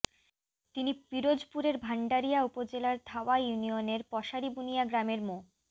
তিনি পিরোজপুরের ভান্ডারিয়া উপজেলার ধাওয়া ইউনিয়নের পশারিবুনিয়া গ্রামের মো